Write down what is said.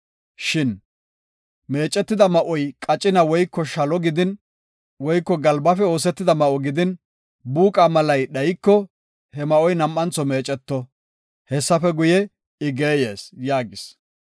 Shin meecetida ma7oy qacina woyko shalo gidin, woyko galbafe oosetidaba ma7o gidin, buuqa malay dhayiko, he ma7oy nam7antho meeceto; Hessafe guye, I geeyees” yaagis.